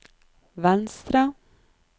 venstre